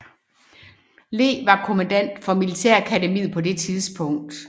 Lee var kommandant for militærakademiet på det tidspunkt